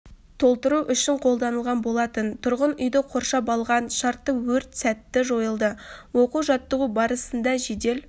толтыру үшін қолданылған болатын тұрғын үйді қоршап алған шартты өрт сәтті жойылды оқу-жаттығу барысында жедел